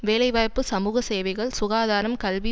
வேலைவாய்ப்பு சமூக சேவைகள் சுகாதாரம் கல்வி